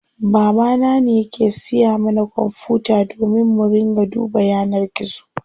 Baba na ne yake siya mana kwanfuta domin mu ringa duba yanar gizo.